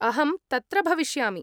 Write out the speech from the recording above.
अहं तत्र भविष्यामि।